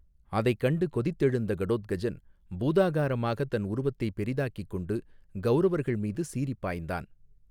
அதை கண்டு கொதித்தெழுந்த கடோத்கஜன் பூதாகாரமாக தன் உருவத்தை பெரிதாக்கிக் கொண்டு கௌரவர்கள் மீது சீறி பாய்ந்தான்.